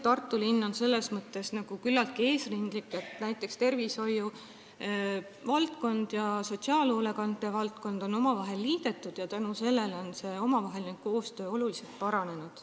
Tartu linn on selles mõttes küllaltki eesrindlik, näiteks on tervishoiuvaldkond ja sotsiaalhoolekanne omavahel liidetud ning tänu sellele on koostöö oluliselt paranenud.